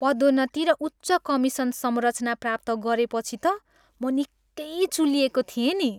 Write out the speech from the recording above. पदोन्नति र उच्च कमिसन संरचना प्राप्त गरेपछि त म निकै चुलिएको थिएँ नि।